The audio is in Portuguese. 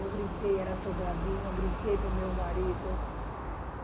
Eu gritei, era assombradinho, eu gritei para o meu marido.